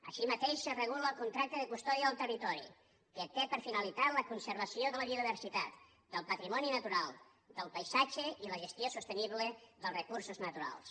així mateix es regula el contracte de custòdia del territori que té per finalitat la conservació de la biodiversitat del patrimoni natural del paisatge i la gestió sostenible dels recursos naturals